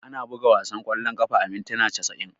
Ana buga wasan kwallon kafa a mintuna casa'in.